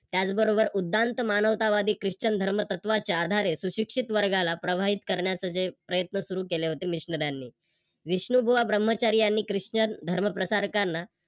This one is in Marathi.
त्याच बरोबर उद्यान्त मानवतावादी, Chrishtian धर्मतत्त्वाच्या आधारे सुशिक्षित वर्गाला प्रभावित करण्याच जे प्रयत्न सुरू केले होते यांनी विष्णुबुवा ब्रम्हचारी यांनी Chrishtian धर्मप्रसारकांना